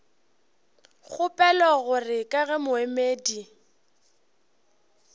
kgopela gore ka ge moemedi